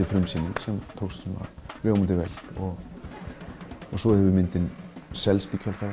frumsýningin og hún tókst ljómandi vel svo hefur myndin selst í kjölfarið